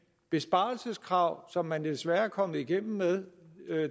besparelseskrav som man desværre er kommet igennem med